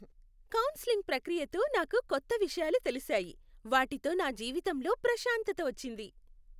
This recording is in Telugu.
కౌన్సెలింగ్ ప్రక్రియతో నాకు కొత్త విషయాలు తెలిసాయి, వాటితో నా జీవితంలో ప్రశాంతత వచ్చింది.